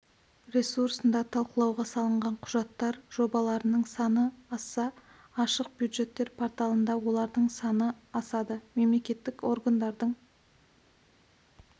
ресурсында талқылауға салынған құжаттар жобаларының саны асса ашық бюджеттер порталында олардың саны асады мемлекеттік органдардың